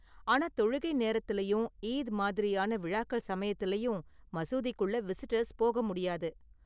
ஆனா தொழுகை நேரத்துலயும் ஈத் மாதிரியான விழாக்கள் சமயத்துலயும், மசூதிக்குள்ள விசிட்டர்ஸ் போக முடியாது.